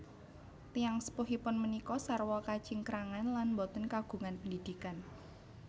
Tiyang sepuhipun punika sarwa kacingkrangan lan boten kagungan pendidikan